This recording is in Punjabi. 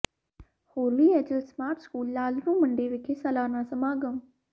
ਹੋਲੀ Angel Smart School Lalru Mandi ਵਿਖੇ ਸਾਲਾਨਾ ਸਮਾਗਮ